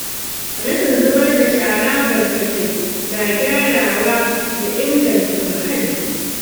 Rashin zubar da shara barkatai na gyarawa da inganta muhalli.